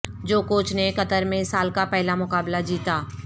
جوکووچ نے قطر میں سال کا پہلا مقابلہ جیتا